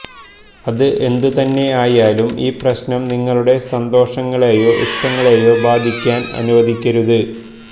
അത് എന്തുതന്നെയായാലും ഈ പ്രശ്നം നിങ്ങളുടെ സന്തോഷങ്ങളെയോ ഇഷ്ടങ്ങളെയോ ബാധിക്കാന് അനുവദിക്കരുത്